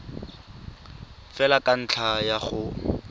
fela ka ntlha ya go